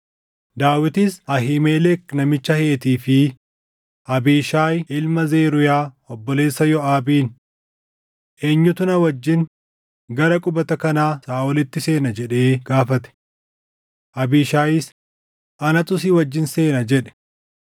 Daawitis Ahiimelek namicha Heetii fi Abiishaayi ilma Zeruuyaa obboleessa Yooʼaabiin, “Eenyutu na wajjin gara qubata kanaa Saaʼolitti seena?” jedhee gaafate. Abiishaayis, “Anatu si wajjin seena” jedhe.